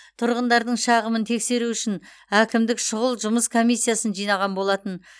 тұрғындардың шағымын тексеру үшін әкімдік шұғыл жұмыс комиссиясын жинаған болатын